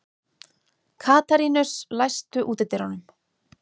Katarínus, læstu útidyrunum.